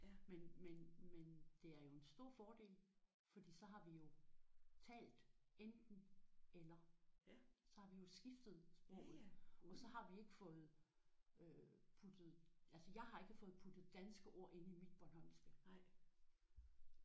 Men men men det er jo en stor fordel fordi så har vi jo talt enten eller. Så har vi jo skiftet sproget og så har vi ikke fået puttet altså jeg har ikke fået puttet danske ord ind i mit bornholmske